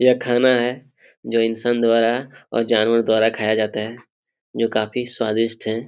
यह खाना है जो इंशान द्वारा और जानवर द्वारा खाया जाता है जो काफी स्वादिष्ट है|